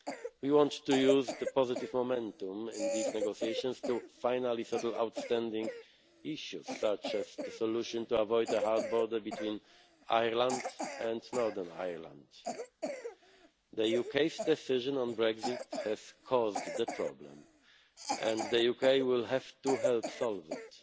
We want to use the positive momentum in these negotiations to finally settle outstanding issues such as the solution to avoid a hard border between Ireland and Northern Ireland. The UK's decision on Brexit has caused the problem, and the UK will have to help